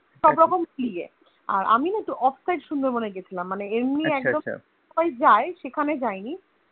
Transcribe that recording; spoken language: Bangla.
সবরকম নিয়ে আর আমি না একটু Offside সুন্দরবনে গিয়াছিলাম, মানে এমনি একদম সবাই যায় সেখানে যাইনি